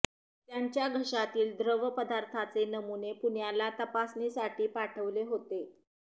त्यांच्या घशातील द्रव पदार्थांचे नमुने पुण्याला तपासणीसाठी पाठवले होते